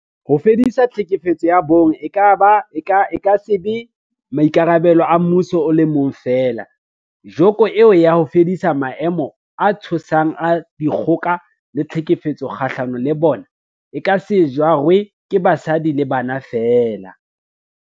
Ho fedisa tlhekefetso ya bong e ka se be maikarabelo a mmuso o le mong feela, joko eo ya ho fedisa maemo a tshosang a dikgoka le tlhekefetso kgahlano le bona, e ka se jarwe ke basadi le bana feela.